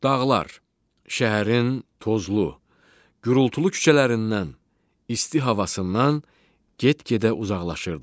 Dağlar şəhərin tozlu, gurultulu küçələrindən, isti havasından get-gedə uzaqlaşırdıq.